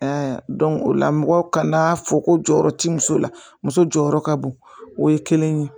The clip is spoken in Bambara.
o la mɔgɔw kana'a fɔ ko jɔyɔrɔ ti muso la muso jɔyɔrɔ ka bon o ye kelen ye